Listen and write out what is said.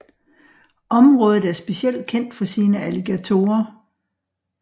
Området er specielt kendt for sine alligatorer